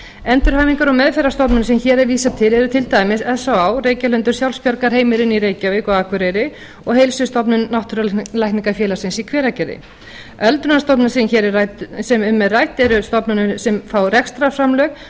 endurhæfingar og meðferðarstofnanir sem hér er vísað til eru til dæmis s á á reykjalundur sjálfsbjargarheimilin í reykjavík og akureyri og heilsustofnun náttúrulækningafélagsins í hveragerði öldrunarstofnanir sem um er rætt eru stofnanir sem fá rekstrarframlög